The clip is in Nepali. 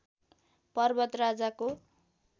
पर्वत राजाको